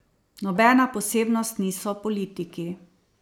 Nobena posebnost niso politiki.